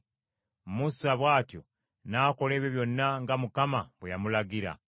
Musa bw’atyo n’akola ebyo byonna nga Mukama bwe yamulagira.